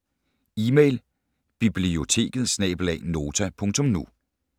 Email: biblioteket@nota.nu